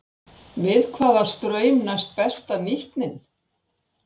Við hvaða straum næst besta nýtnin?